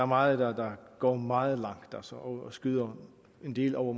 meget der går meget langt og skyder en del over